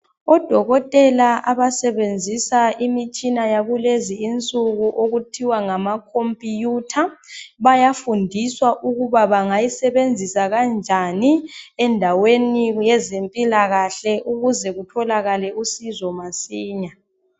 Odokotela abasebenzisa imitshina yakulezi insuku okuthiwa ngamakhompiyutha, bayafundiswa ukuthi bangayisebenzisa kanjani endaweni yezempilakahle ukuze kutholakale usizo masinya.